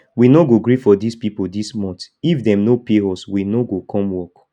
we no go gree for dis people dis month if dem no pay us we no go come work